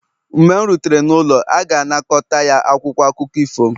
mgbe m rutere n'ụlọ, a ga-anakọta ya akwụkwọ akụkọ ifo m